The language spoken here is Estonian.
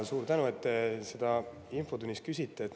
Suur tänu, et te seda infotunnis küsite!